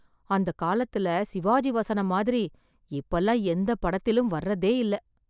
அந்த காலத்துல சிவாஜி வசனம் மாதிரி இப்பல்லாம் எந்த படத்திலும் வர்றதே இல்லை.